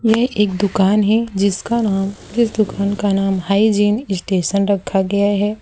यह एक दुकान है जिसका नाम इस दुकान का नाम हाइजीन स्टेशन रखा गया है।